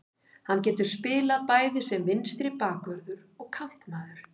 Hann getur spilað bæði sem vinstri bakvörður og kantmaður.